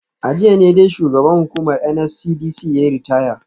A jiya ne dai shugaban hukumar NSCDC yayi ritaya